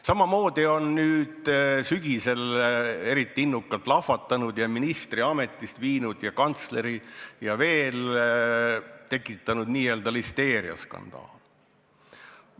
Samamoodi on nüüd sügisel eriti innukalt lahvatanud – lausa ministri ametist viinud, samamoodi kantsleri ja veel – listeeriaskandaal.